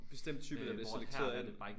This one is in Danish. Bestemt type der bliver selekteret af det